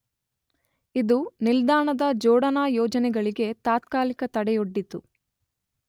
ಇದು ನಿಲ್ದಾಣದ ಜೋಡಣಾ ಯೋಜನೆಗಳಿಗೆ ತಾತ್ಕಾಲಿಕ ತಡೆಯೊಡ್ಡಿತು.